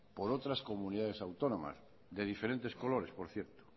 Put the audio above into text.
por otras comunidades autónomas de diferentes colores por cierto